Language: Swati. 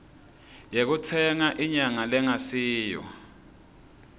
yekutsenga inyama lengasiyo